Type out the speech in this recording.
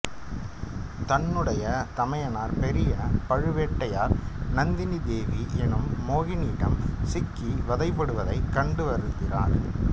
தன்னுடைய தமயனார் பெரிய பழுவேட்டரையர் நந்தினி தேவி எனும் மோகினியிடம் சிக்கி வதைபடுவதைக் கண்டு வருந்தினார்